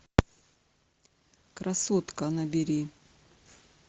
красотка набери